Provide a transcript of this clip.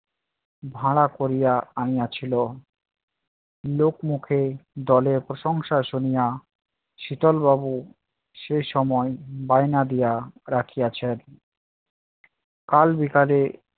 ভাড়া করিয়া আনিয়াছিলো। লোক মুখে দলের প্রশংসা শুনিয় শীতল বাবু সেই সময় বায়না দিয়া রাখিয়াছে কাল বিকালে